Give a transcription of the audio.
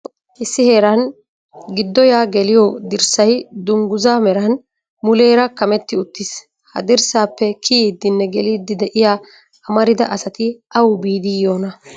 Issi heeran giddo yaa geliyo dirssay dungguza meran muleera kametti uttiis. ha dirssappe kiyidinne geliidi de'iyaa amarida asati awu biidi yiyoona?